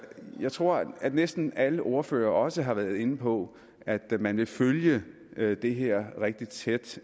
jeg tror at næsten alle ordførere også har været inde på at man vil følge det her rigtig tæt